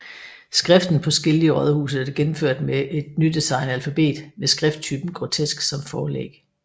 Skriften på skilte i rådhuset er gennemført med et nydesignet alfabet med skrifttypen Grotesk som forlæg